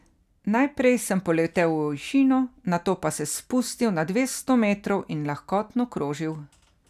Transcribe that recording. Najprej sem poletel v višino, nato pa se spustil na dvesto metrov in lahkotno krožil.